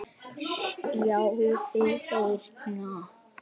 sjáðu, hérna.